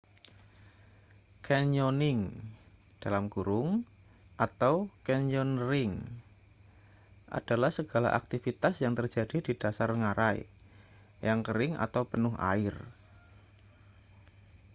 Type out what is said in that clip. canyoning atau: canyoneering adalah segala aktivitas yang terjadi di dasar ngarai yang kering atau penuh air